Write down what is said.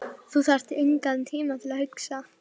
Þú þarft engan tíma til að hugsa.